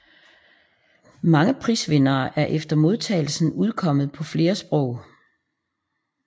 Mange prisvinderne er efter modtagelsen udkommet på flere sprog